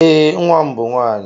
Ee, nwa m bụ nwaanyị.